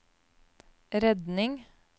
redning